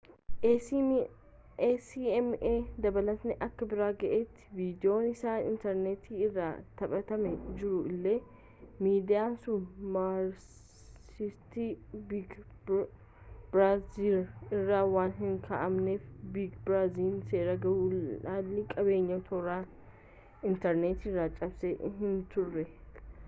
acma dabalataan akka bira ga’etti viidiyoon isaa intarneetii irratti taphatamaa jiraatu illee miidiyaan sun marsariitii biig biraazarii irra waan hin kaa’amneef biig biraazariin seera gulaallii qabiyyee toora inatrneetiirraa cabsee hinturre